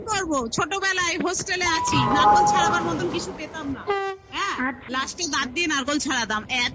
কি করবো? ছোটবেলায় hostel -এ আছি নারকোল ছাড়াবার মতন কিছু পেতাম না হ্যাঁ আর last এ দাঁত দিয়ে নারকোল ছাড়াতাম এত